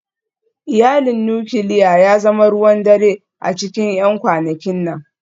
Iyalin nukiliya ya zama ruwan dare a cikin 'yan kwanakin nan